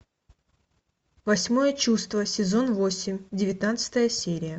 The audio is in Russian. восьмое чувство сезон восемь девятнадцатая серия